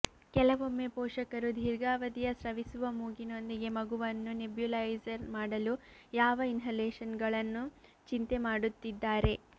ಕೆಲವೊಮ್ಮೆ ಪೋಷಕರು ದೀರ್ಘಾವಧಿಯ ಸ್ರವಿಸುವ ಮೂಗಿನೊಂದಿಗೆ ಮಗುವನ್ನು ನೆಬ್ಯೂಲೈಜರ್ ಮಾಡಲು ಯಾವ ಇನ್ಹಲೇಷನ್ಗಳನ್ನು ಚಿಂತೆ ಮಾಡುತ್ತಿದ್ದಾರೆ